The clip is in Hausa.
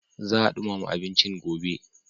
Za a ɗumama abincin a gobe.